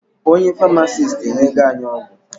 Onye Farmasiti enyego anyị ọgwụ